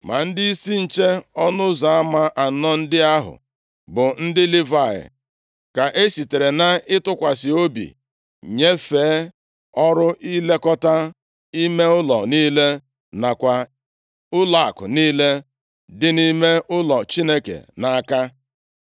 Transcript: Ma ndịisi nche ọnụ ụzọ ama anọ ndị ahụ bụ ndị Livayị ka esitere nʼịtụkwasị obi nyefee ọrụ ilekọta ime ụlọ niile nakwa ụlọakụ niile dị nʼime ụlọ Chineke nʼaka.